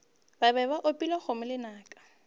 be ba opile kgomo lenaka